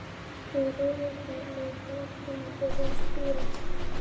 Tveir rauðlaukar, annar byrjaður að spíra.